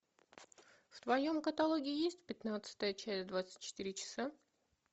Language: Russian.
в твоем каталоге есть пятнадцатая часть двадцать четыре часа